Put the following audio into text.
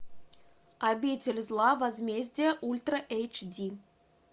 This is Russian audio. обитель зла возмездие ультра эйч ди